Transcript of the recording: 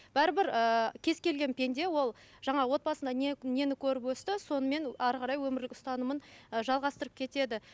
бәрібір ііі кез келген пенде ол жаңа отбасында нені көріп өсті сонымен әрі қарай өмірлік ұстанымын ы жалғастырып кетеді